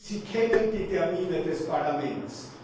Sie kennen die Termine des Parlaments.